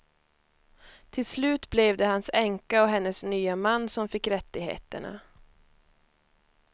Till slut blev det hans änka och hennes nya man som fick rättigheterna.